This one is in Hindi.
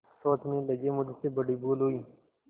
सोचने लगेमुझसे बड़ी भूल हुई